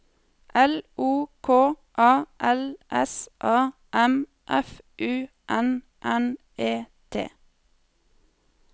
L O K A L S A M F U N N E T